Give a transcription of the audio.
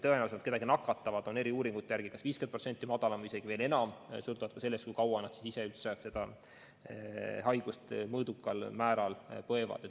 Tõenäosus, et nad kedagi nakatavad, on eri uuringute järgi kas 50% või isegi veel rohkem väiksem, seda sõltuvalt ka sellest, kui kaua nad haigust mõõdukal moel põevad.